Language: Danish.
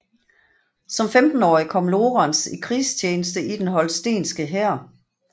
Som 15årig kom Lorenz i krigstjeneste i den holstenske hær